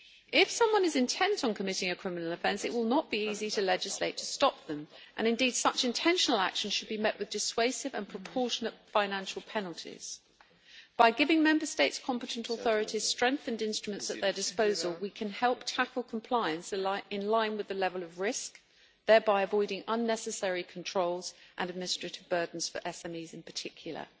If someone is intent on committing a criminal offence, it will not be easy to legislate to stop them, and indeed such intentional action should be met with dissuasive and proportionate financial penalties. By giving Member States' competent authorities strengthened instruments at their disposal, we can help tackle compliance in line with the level of risk, thereby avoiding unnecessary controls and administrative burdens for SMEs in particular.